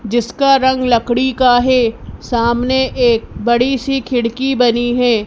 जिसका रंग लकड़ी का है सामने एक बड़ी सी खिड़की बनी है।